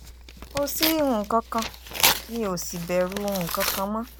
kò sí nǹkan kan mi ò sì bẹ̀rù nǹkan kan mọ́